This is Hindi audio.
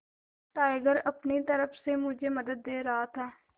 टाइगर अपनी तरह से मुझे मदद दे रहा था